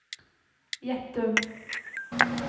Gjettum